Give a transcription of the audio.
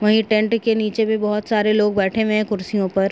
Right hand के नीचे भी बहुत सारे लोग बैठे हुए है कुर्सियों पर।